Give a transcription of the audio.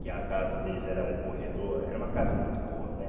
Que a casa deles era um corredor, era uma casa muito boa, né?